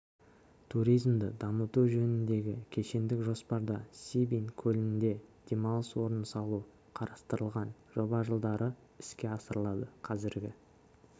туризмді дамыту жөніндегі кешендік жоспарда сибин көлінде демалыс орнын салу қарастырылған жоба жылдары іске асырылады қазіргі